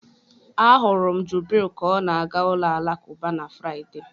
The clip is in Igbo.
Ahụrụ m Jubril ka ọ na-aga ụlọ alakụba na Fraịde.